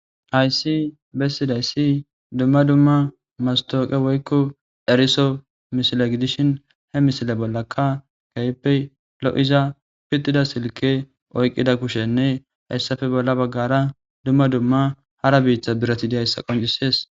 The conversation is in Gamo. haysi bessidayssi dumma dumma mastooqe woykko eriso misile gidishin he misile bollakka gayppe lo7iza pidtida silke oyqqida kushenne hayssafe bolla baggara dumma dumma hara biiththa birati diyayssa qoncisees